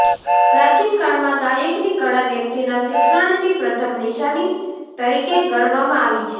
પ્રાચીનકાળમાં ગાયકની કળા વ્યક્તિના શિક્ષણની પ્રથમ નિશાની તરીકે ગણવામાં આવી હતી